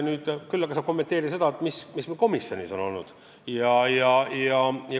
Küll saan ma kommenteerida seda, mis meil komisjonis on toimunud.